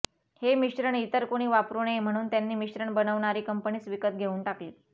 हे मिश्रण इतर कुणी वापरू नये म्हणून त्यांनी मिश्रण बनवणारी कंपनीच विकत घेऊन टाकली